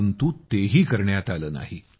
परंतु ते ही करण्यात आलं नाही